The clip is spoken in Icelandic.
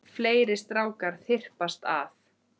Fleiri strákar þyrpast að.